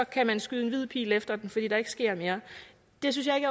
kan man skyde en hvid pil efter den fordi der ikke sker mere det synes jeg